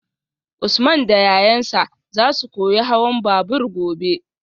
Usman da yayansa zasu koyi hawan babur gobe